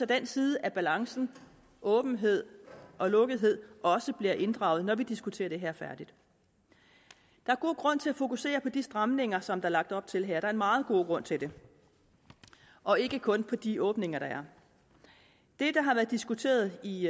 den side af balancen åbenhed og lukkethed også bliver inddraget når vi diskuterer det her færdigt der er god grund til at fokusere på de stramninger som der er lagt op til her der er meget god grund til det og ikke kun på de åbninger der er det der har været diskuteret i